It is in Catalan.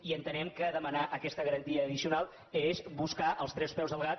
i entenem que demanar aquesta garantia addicional és buscar els tres peus al gat